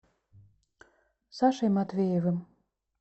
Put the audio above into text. сашей матвеевым